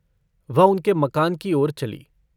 वह उनके मकान की ओर चली।